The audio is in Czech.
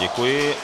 Děkuji.